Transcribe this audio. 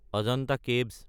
Ajanta caves